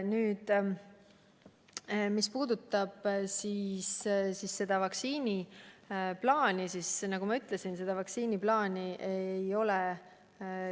Mis puudutab vaktsiiniplaani, siis nagu ma ütlesin, seda plaani ei ole.